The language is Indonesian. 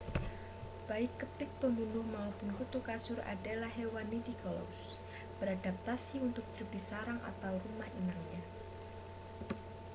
baik kepik pembunuh mapun kutu kasur adalah hewan nidicolous beradaptasi untuk hidup di sarang atau rumah inangnya